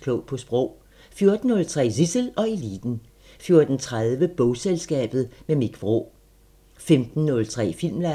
Klog på Sprog * 14:03: Zissel og Eliten 14:30: Bogselskabet – med Mich Vraa 15:03: Filmland